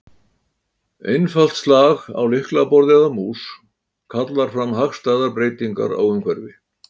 Einfalt slag á lyklaborð eða mús kallar fram hagstæðar breytingar á umhverfi.